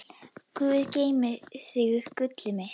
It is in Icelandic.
Guð geymi þig, gullið mitt.